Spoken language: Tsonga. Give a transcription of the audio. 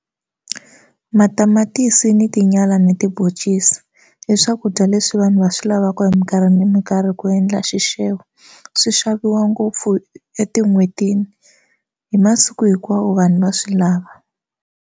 Matamatisi na tinyala ni tibhoncisi i swakudya leswi vanhu va swi lavaka hi minkarhi ni minkarhi ku endla xixevo swi xaviwa ngopfu etin'hwetini hi masiku hinkwawo vanhu va swi lava.